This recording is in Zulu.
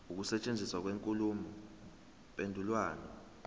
ukusetshenziswa kwenkulumo mpendulwano